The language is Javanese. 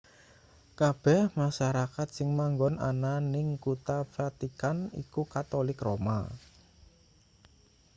kabeh masarakat sing manggon ana ning kutha vatican iku katolik roma